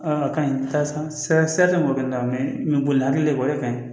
A ka ɲi san sira tɛ mɔgɔ kelen na mɛ n bɛ boli hakili de bɔ e ka